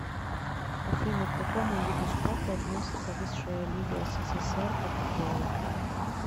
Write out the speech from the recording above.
афина к какому виду спорта относится высшая лига ссср по футболу